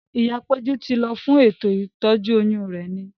Ìyá péjú ti lọ fún ètò ìtọ́jú oyún rẹ̀ ni